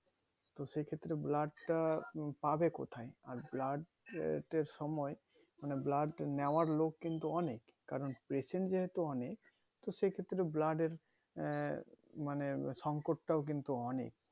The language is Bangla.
তো সেই ক্ষেত্রে blood তা পাবে কোথায় আর blood এর সময় মানে blood নেওয়ার লোক কিন্তু অনেক কারণ patient যেহেতু অনেক তো সেই ক্ষেত্রে blood এর আহ মানে সংকট তাও কিন্তু অনেক